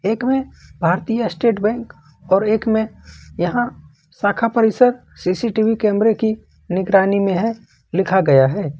एक में भारतीय स्टेट बैंक और एक में यहां शाखा परिषद सी_सी_टी_वी कैमरे की निगरानी में है लिखा गया है।